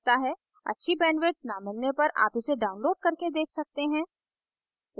अच्छी bandwidth न मिलने पर आप इसे download करके देख सकते हैं